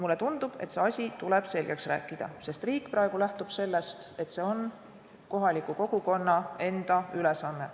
Mulle tundub, et see asi tuleb selgeks rääkida, sest riik lähtub praegu sellest, et see on kohaliku kogukonna enda ülesanne.